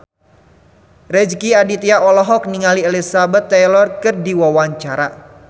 Rezky Aditya olohok ningali Elizabeth Taylor keur diwawancara